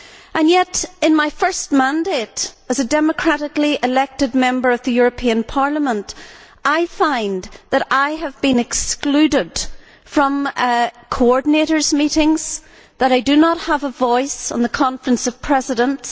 And yet, in my first mandate as a democratically elected Member of the European Parliament, I find that I have been excluded from coordinators' meetings, that I do not have a voice on the Conference of Presidents.